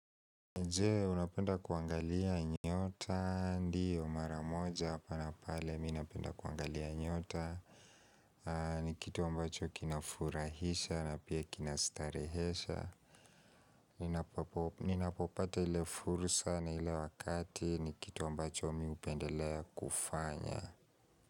Je, unapenda kuangalia nyota? Ndiyo, mara moja hapa na pale mimi napenda kuangalia nyota ni kitu ambacho kinafurahisha na pia kinastarehesha Ninapopata ile fursa na ile wakati ni kitu ambacho mimi hupendelea kufanya.